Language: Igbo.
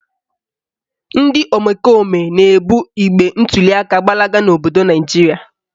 Ndị omekome na-ebu igbe ntuliaka gbalaga n'obodo Naijiria